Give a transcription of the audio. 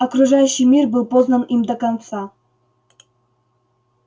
окружающий мир был познан им до конца